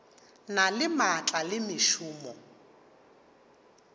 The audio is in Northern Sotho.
na le maatla le mešomo